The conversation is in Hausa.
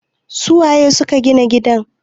su waye suka Gina gidan?